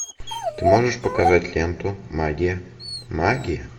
ты можешь показать ленту магия магия